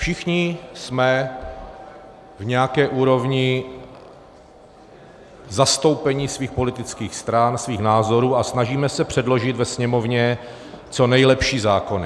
Všichni jsme v nějaké úrovni zastoupení svých politických stran, svých názorů a snažíme se předložit ve Sněmovně co nejlepší zákony.